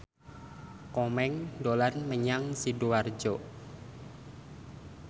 Komeng dolan menyang Sidoarjo